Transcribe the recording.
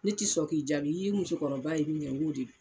Ne ti sɔn k'i jaabi . I ye musokɔrɔba ye mun na, ngo de do.